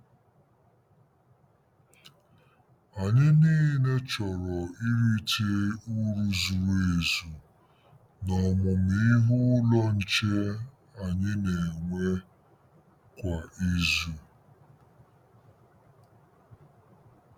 Anyị niile chọrọ irite uru zuru ezu n'Ọmụmụ Ihe Ụlọ Nche anyị na-enwe kwa izu.